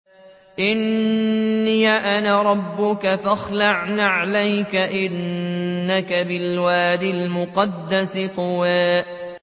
إِنِّي أَنَا رَبُّكَ فَاخْلَعْ نَعْلَيْكَ ۖ إِنَّكَ بِالْوَادِ الْمُقَدَّسِ طُوًى